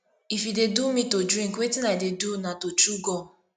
if e dey do me to drink wetin i dey do na to chew gum